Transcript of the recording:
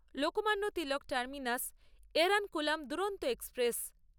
Lokmanya Tilak terminus Ernakulam Duronto express